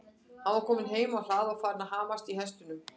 Hann var kominn heim á hlað og farinn að hamast í hestunum.